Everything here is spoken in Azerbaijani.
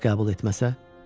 Bəs qəbul etməsə?